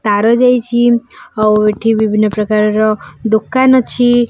ତାର ଯାଇଚି ଆଉ ଏଠି ବିଭିନ୍ନ ପ୍ରକାରର ଦୋକାନ ଅଛି।